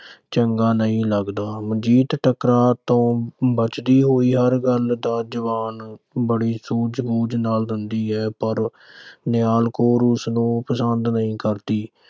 ਮਨਜੀਤ ਟਕਰਾਅ ਤੋਂ ਬਚਦੀ ਹੋਈ, ਹਰ ਗੱਲ ਦਾ ਜਵਾਬ ਬੜੀ ਸੂਝ-ਬੂਝ ਨਾਲ ਦਿੰਦੀ ਹੈ, ਪਰ ਨਿਹਾਲ ਕੌਰ ਉਸਨੂੰ ਪਸੰਦ ਨਹੀਂ ਕਰਦੀ।